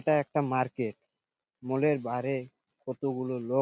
এইটা একটা market mall -এর বারে কত গুলো লোক--